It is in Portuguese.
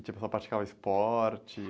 Tinha pessoa que praticava esporte?